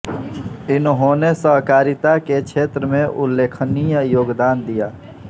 इन्होंने सहकारिता के क्षेत्र में उल्लेखनीय योगदान दिया